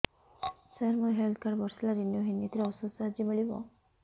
ସାର ମୋର health card ବର୍ଷେ ହେଲା ରିନିଓ ହେଇନି ଏଥିରେ ଔଷଧ ସାହାଯ୍ୟ ମିଳିବ